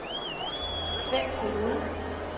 Svend Foged